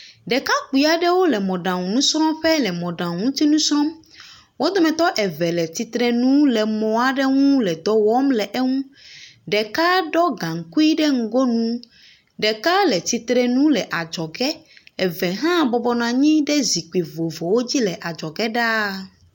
Ɖekakpui aɖewo le mɔɖaŋunusrɔ̃ƒe le mɔɖaŋu ŋuti nu srɔ̃m. Wo dometɔ eve le tsitre nu le mɔ aɖe ŋu le dɔ wɔm le eŋu. Ɖeka ɖɔ gaŋkui ɖe ŋgoŋu. Ɖeka le tsitre nu le adzɔge, eve hã bɔbɔ nɔ anyi ɖe zikpui vovovowo dzi le adzɔge ɖaa.